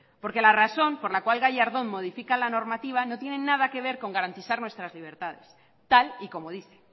porque la razón por la cual gallardón modifica la normativa no tiene nada que ver con garantizar nuestras libertades tal y como dice